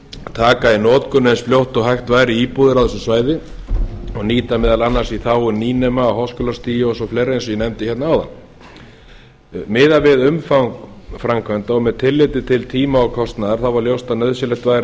taka í notkun eins fljótt og hægt væri íbúðir á þessu svæði og nýta meðal annars í þágu nýnema á háskólastigi og fleira eins og ég nefndi hérna áðan miðað við umfang framkvæmda og með tilliti til tíma og kostnaðar var ljóst að nauðsynlegt væri að